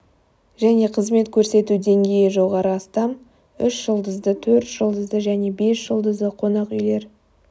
және қызмет көрсету деңгейі жоғары астам үш жұлдызды төрт жұлдызды және бес жұлдызды қонақ үйлер